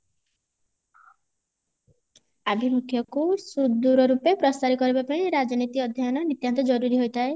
ଅଭିମୁକ୍ଷାକୁ ସୁଦୃଢ ଭାବେ ପ୍ରସାର କରିବା ପାଇଁ ରାଜନୀତି ଅଧ୍ୟୟନ ନିତ୍ୟାନ୍ତ ଜରୁରୀ ହୋଇଥାଏ